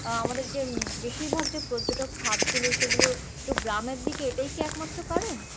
আহ আমাদের যে উম বেশির ভাগ যে পর্যটক খাদ গুলো সেই গুলো একটু গ্রামের দিকে এটাই কি এক মাত্র কারণ?